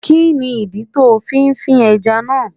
Kí ni ìdí tó fi fí ẹja náà?